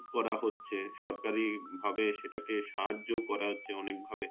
করা হচ্ছে সরকারি ভাবে সেটাকে সাহায্য করা হচ্ছে অনেক ভাবে